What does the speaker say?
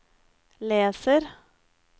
leser